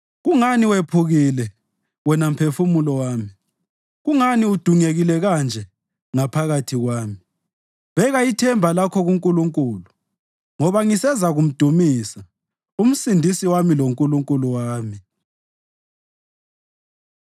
Kungani wephukile, wena mphefumulo wami? Kungani udungekile kanje ngaphakathi kwami? Beka ithemba lakho kuNkulunkulu, ngoba ngisezakumdumisa, uMsindisi wami loNkulunkulu wami.